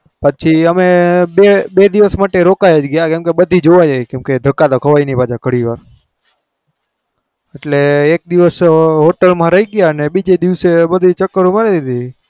પછી અમે બે બે દિવસ માટે રોકાઈ જ ગયા કેમ કે બધી જોવાઈ જાય કેમ કે ધક્કા તો ખવાઈ નહિ પાછા ઘડીવાર. એટલે એક દિવસ hotel બીજે દિવસે બધે ચકરો મરાવી.